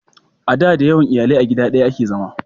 a da da yawan iyalai a gida daya a ke zama